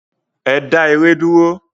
Ẹ dá ère dúró!